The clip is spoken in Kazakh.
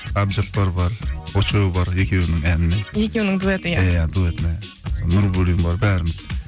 әбдіжаппар бар очоу бар екеуінің әнімен екеуінің дуэті иә иә дуэтіне нурбуллин бар бәріміз